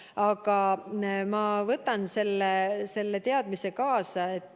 Aga ma võtan selle teadmise kaasa.